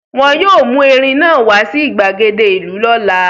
Wọn yóò mú erin náà wá sí ìgbàgede ìlú lọ́la.